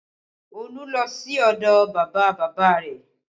Olú lọ sí ọdọ bàbá bàbá rẹ̀